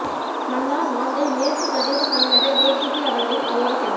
மன்னார் மாந்தை மேற்கு பிரதேசசெயலக A T P அவர்களின் அகோர செயல்